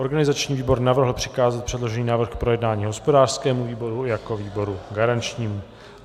Organizační výbor navrhl přikázat předložený návrh k projednání hospodářskému výboru jako výboru garančnímu.